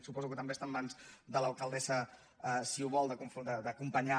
suposo que també està en mans de l’alcaldessa si ho vol d’acompanyar